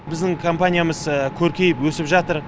біздің компаниямыз көркейіп өсіп жатыр